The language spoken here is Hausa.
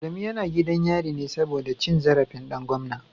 Adamu yana gidan yari ne saboda cin zarafin dan gwamna